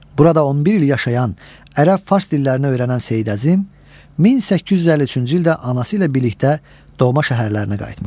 Burada 11 il yaşayan, ərəb-fars dillərini öyrənən Seyid Əzim 1853-cü ildə anası ilə birlikdə doğma şəhərlərinə qayıtmışdı.